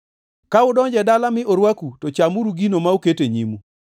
“Ka udonjo e dala mi orwaku to chamuru gino ma oket e nyimu.